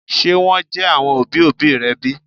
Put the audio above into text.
Ṣe wọn jẹ àwọn òbí òbí rẹ bi?